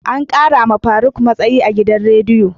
Ankara ma faruk matsayi a gidan rediyo.